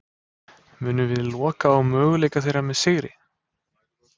Munum við loka á möguleika þeirra með sigri?